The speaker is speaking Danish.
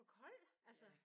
For koldt? Altså